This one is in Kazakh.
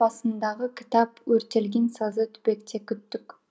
басындағы кітап өртелген сазды түбекте күттік